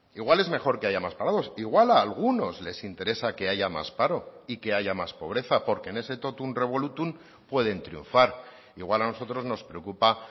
igual es mejor que haya más parados igual a algunos les interesa que haya más paro y que haya más pobreza porque en ese totum revolutum pueden triunfar igual a nosotros nos preocupa